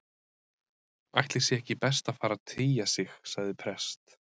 Ætli sé ekki best að fara að tygja sig- sagði prest